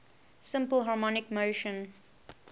simple harmonic motion